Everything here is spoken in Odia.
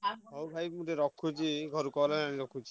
ହଉ ଭାଇ ମୁଁ ଟିକେ ରଖୁଛି ଘରୁ call ଆଇଲାଣି ରଖୁଛି।